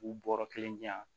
K'u bɔɔrɔ kelen di yan